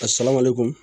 A saba ma le kun